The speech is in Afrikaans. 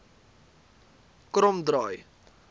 kromdraai